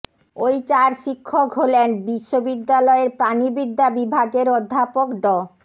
ওই চার শিক্ষক হলেন বিশ্ববিদ্যালয়ের প্রাণিবিদ্যা বিভাগের অধ্যাপক ড